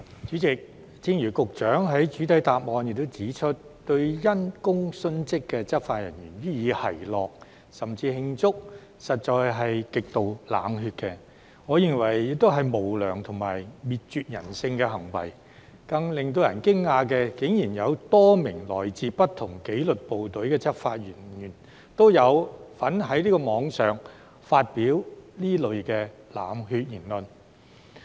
主席，正如局長在主體答覆中指出，對因公殉職的執法人員予以奚落甚至慶祝，實在是極度冷血，我認為這亦是無良和滅絕人性的行為，而更令人驚訝的是，竟然有多名來自不同紀律部隊的執法人員都有在網絡上發表這類冷血言論。